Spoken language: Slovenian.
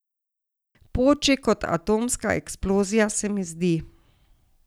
Poči kot atomska eksplozija, se mi zdi.